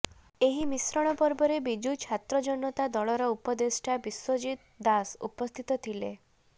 ଏହି ମିଶ୍ରଣ ପର୍ବରେ ବିଜୁ ଛାତ୍ର ଜନତାର ଉପଦେଷ୍ଟା ବିଶ୍ବଜିତ ଦାସ ଉପସ୍ଥିତ ଥିଲେ